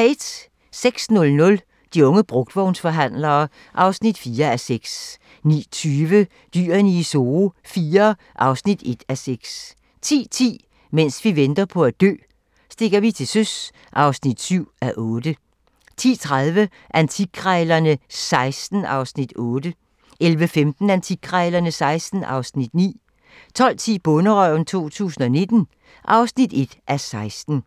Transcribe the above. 06:00: De unge brugtvognsforhandlere (4:6) 09:20: Dyrene i Zoo IV (1:6) 10:10: Mens vi venter på at dø - stikker vi til søs (7:8) 10:30: Antikkrejlerne XVI (Afs. 8) 11:15: Antikkrejlerne XVI (Afs. 9) 12:10: Bonderøven 2019 (1:16)